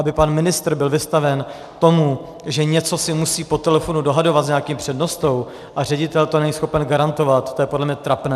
Aby pan ministr byl vystaven tomu, že něco si musí po telefonu dohadovat s nějakým přednostou, a ředitel to není schopen garantovat, to je podle mě trapné.